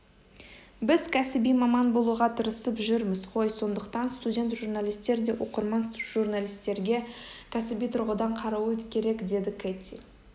біз кәсіби маман болуға тырысып жүрміз ғой сондықтан студент журналистер де оқырман журналистерге кәсіби тұрғыдан қарауы керекдеді кэти